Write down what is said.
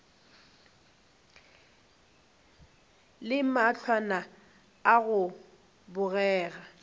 le mahlwana a go bogega